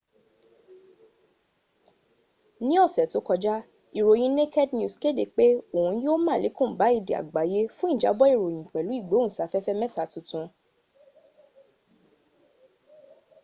ní ọ̀sẹ̀ tó kọjá ìròyìn naked news kéde pé òun yó málèkún bá èdè àgbéyé fún ìjábọ̀ ìròyìn pẹ̀lú ìgbóhùnsáfẹ́fẹ́ mẹ́ta tuntun